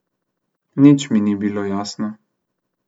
Nič mi ni bilo jasno.